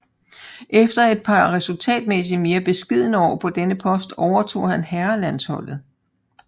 Efter et par resultatmæssigt mere beskedne år på denne post overtog han herrelandsholdet